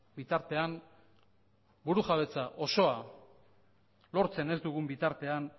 bitartean burujabetza osoa lortzen ez dugun bitartean